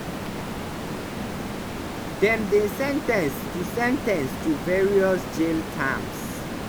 dem dey sen ten ce to sen ten ce to various jail terms.